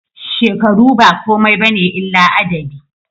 Shekaru ba komai bane illa adadi